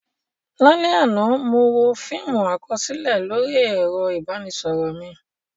Lálẹ́ àná, mo wo fíìmù àkọsílẹ̀ lórí ẹ̀rọ ìbánisọ̀rọ̀ mi.